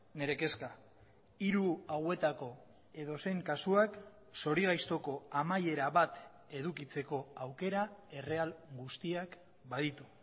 nire kezka hiru hauetako edozein kasuak zorigaiztoko amaiera bat edukitzeko aukera erreal guztiak baditu